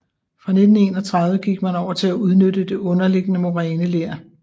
Fra 1931 gik man over til at udnytte det underliggende moræneler